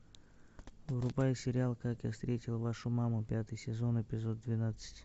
врубай сериал как я встретил вашу маму пятый сезон эпизод двенадцать